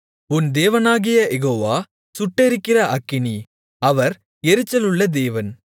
உன் தேவனாகிய யெகோவா சுட்டெரிக்கிற அக்கினி அவர் எரிச்சலுள்ள தேவன்